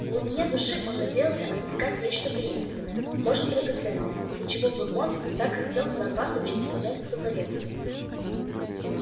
в глубине души он надеялся отыскать нечто таинственное может драгоценное из-за чего бурбон так хотел прорваться через туннель к сухаревской